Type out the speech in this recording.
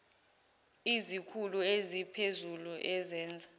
izikhulu eziphezulu ezenza